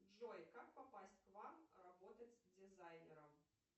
джой как попасть к вам работать дизайнером